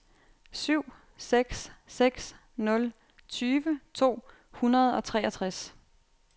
syv seks seks nul tyve to hundrede og treogtres